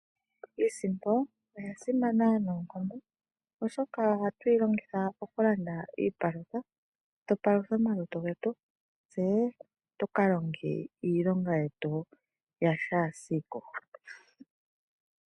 Iisimpo oya simana noonkondo, oshoka ohatu yi longitha okulanda iipaalutha tupaluthe omalutu getu, tse tu ka longe iilonga yetu yashaasiku.